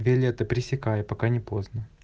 билеты просто хотел посмотреть